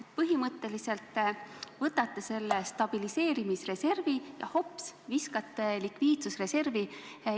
Te põhimõtteliselt võtate stabiliseerimisreservi ja viskate selle hops!